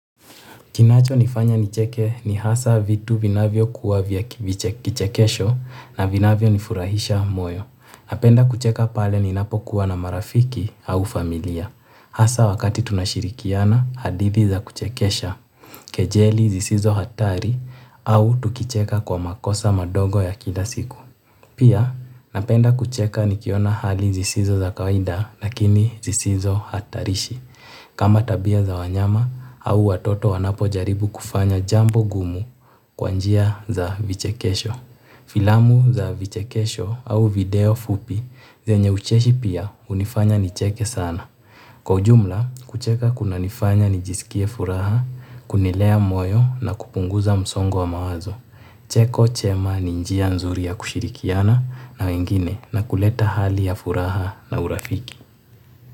Kinacho nifanye nicheke ni hasa vitu vinavyokuwa vya vichekesho na vinavyo nifurahisha moyo napenda kucheka pale ninapo kuwa na marafiki au familia. Hasa wakati tunashirikiana hadithi za kuchekesha, kejeli zisizo hatari au tukicheka kwa makosa madogo ya kila siku. Pia napenda kucheka nikiwa na hali zisizo za kawaida lakini zisizo hatarishi. Kama tabia za wanyama au watoto wanapo jaribu kufanya jambo gumu kwa njia za vichekesho. Filamu za vichekesho au video fupi zenye ucheshi pia hunifanya nicheke sana. Kwa ujumla, kucheka kuna nifanya nijiskie furaha, kunilea moyo na kupunguza msongo wa mawazo. Cheko chema ni njia nzuri ya kushirikiana na wengine na kuleta hali ya furaha na urafiki.